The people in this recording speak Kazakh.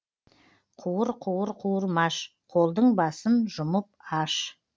қуыр қуыр қуырмаш қолдың басын жұмып аш